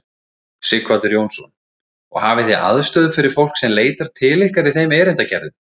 Sighvatur Jónsson: Og hafið þið aðstöðu fyrir fólk sem leitar til ykkar í þeim erindagerðum?